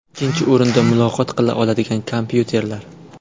Ikkinchi o‘rinda muloqot qila oladigan kompyuterlar.